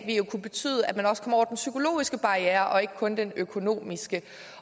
jo kunne betyde at man også kom over den psykologiske barriere og ikke kun den økonomiske